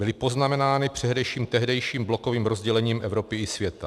Byly poznamenány především tehdejším blokovým rozdělením Evropy i světa.